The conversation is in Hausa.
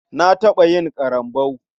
Na taɓa yin ƙarambau.